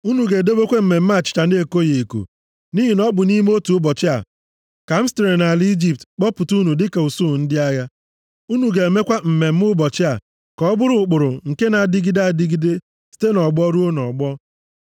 “Unu ga-edobekwa mmemme achịcha na-ekoghị eko nʼihi na ọ bụ nʼime otu ụbọchị a ka m sitere nʼala Ijipt kpọpụta unu dịka usuu ndị agha. Unu ga-emekwa mmemme ụbọchị a ka ọ bụrụ ụkpụrụ nke na-adịgide adịgide site nʼọgbọ ruo nʼọgbọ